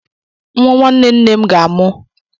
Nwa nwanne nne m ga amụ.